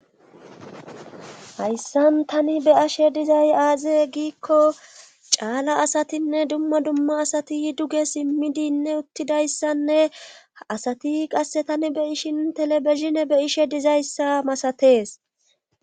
Hayssan tani be ashe dizay aaze giikko caala asatinne dumma dumma asati duge simmidinne uttidayssanne asati qasse tani be ishin telebeshine be ishe dizayssa masatees.